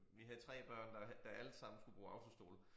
Vi havde 3 børn der der alle sammen skulle bruge autostol